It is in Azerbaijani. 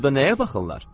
Burda nəyə baxırlar?